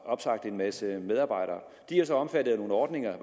opsagt en masse medarbejdere de er så omfattet af nogle ordninger